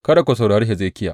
Kada ku saurari Hezekiya.